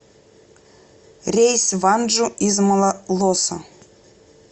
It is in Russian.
рейс в анджу из малолоса